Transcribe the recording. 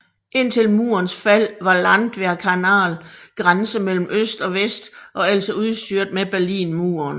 Indtil murens fald var Landwehrkanal grænse mellem øst og vest og altså udstyret med Berlinmur